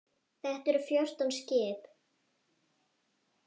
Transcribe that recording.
Þetta eru fjórtán skip.